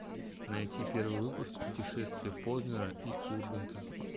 найти первый выпуск путешествия познера и урганта